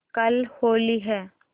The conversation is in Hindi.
कल होली है